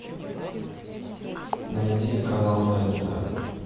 найди канал тнт